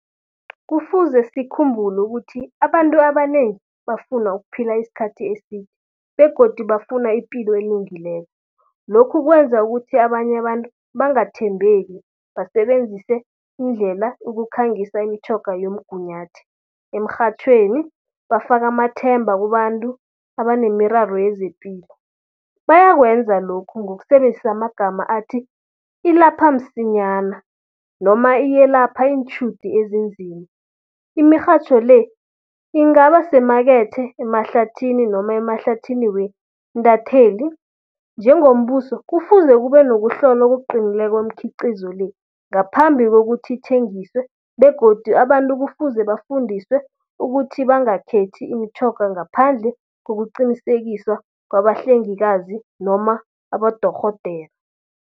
Kufuze sikhumbule ukuthi, abantu abanengi bafuna ukuphila iskhathi eside begodu bafuna ipilo elungileko. Lokhu kwenza ukuthi abanye abantu bangathembeki, basebenzise indlela ukukhangisa imitjhoga yomgunyathi, emrhatjhweni, bafaka amathemba kubantu abanemiraro yezepilo. Bayakwenza lokhu ngokusebenzisa amagama athi, ilapha msinyana noma iyelapha iintjhudu ezinzima. Imirhatjho le, ingaba semakethe, emahlathini noma emahlathini wendatheli. Njengombuso, kufuze kube nokuhlola okuqinileko kweemkhiqizo le, ngaphambi kokuthi ithengiswe. Begodu abantu kufuze bafundiswe ukuthi bangakhethi imitjhoga ngaphandle kokuqinisekiswa kwabahlengikazi noma abodorhodera.